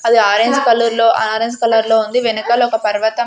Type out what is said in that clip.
అది orange colour లో orange colour లో ఉంది. వెనకాల ఒక పర్వతం --